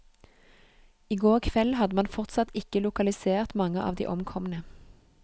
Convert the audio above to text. I går kveld hadde man fortsatt ikke lokalisert mange av de omkomne.